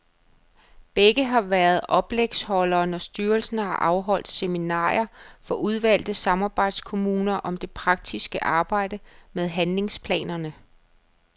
Begge har været oplægsholdere, når styrelsen har afholdt seminarer for udvalgte samarbejdskommuner om det praktiske arbejde med handlingsplanerne.